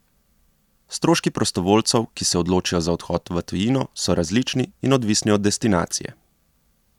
Stroški prostovoljcev, ki se odločijo za odhod v tujino, so različni in odvisni od destinacije.